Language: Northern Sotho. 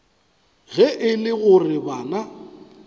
ge e le gore bana